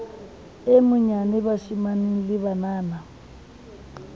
e monyane bashemane le banana